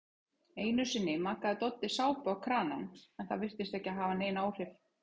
Einusinni makaði Doddi sápu á kranann en það virtist ekki hafa nein áhrif.